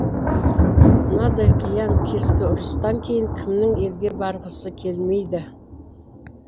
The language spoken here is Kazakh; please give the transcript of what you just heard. мынадай қиян кескі ұрыстан кейін кімнің елге барғысы келмейді